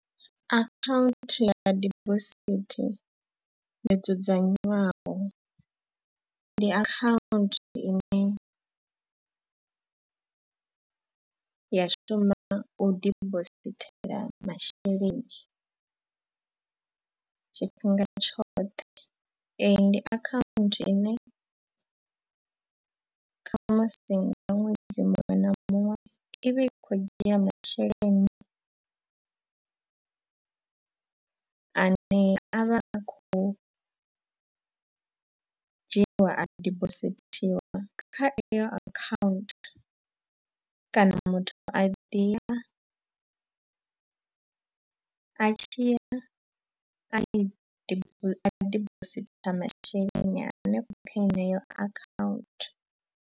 Akhaunthu ya dibosithi yo dzudzanyiwaho ndi account ine ya shuma u dibosithela masheleni tshifhinga tshoṱhe. Eyi ndi akhaunthu ine khamusi nga ṅwedzi muṅwe na muṅwe i vha i khou dzhia masheleni ane a vha a khou dzhiiwa a dibosithiwa kha eyo akhaunthu. Kana muthu a ḓi ya a tshi ya yo a dibositha masheleni henefho kha heneyo akhaunthu.